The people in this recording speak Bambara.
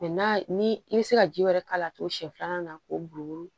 n'a ni i bɛ se ka ji wɛrɛ k'a la togo siɲɛ filanan na k'o bugubugu